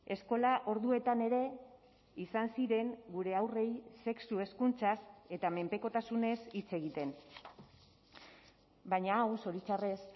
eskola orduetan ere izan ziren gure haurrei sexu hezkuntzaz eta menpekotasunez hitz egiten baina hau zoritxarrez